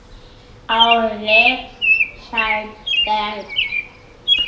Árni Sæberg